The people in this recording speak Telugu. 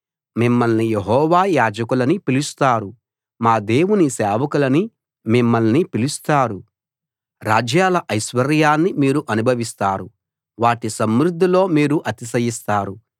మిమ్మల్ని యెహోవా యాజకులని పిలుస్తారు మా దేవుని సేవకులని మిమ్మల్ని పిలుస్తారు రాజ్యాల ఐశ్వర్యాన్ని మీరు అనుభవిస్తారు వాటి సమృద్ధిలో మీరు అతిశయిస్తారు